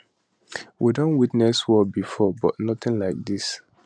we don witness war bifor but notin like dis